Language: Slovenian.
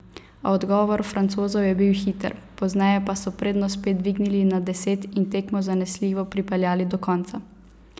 A odgovor Francozov je bil hiter, pozneje pa so prednost spet dvignili nad deset in tekmo zanesljivo pripeljali do konca.